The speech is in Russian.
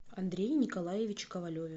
андрее николаевиче ковалеве